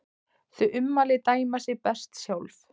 Þau ummæli dæma sig best sjálf.